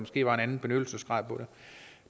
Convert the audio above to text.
var en anden benyttelsesgrad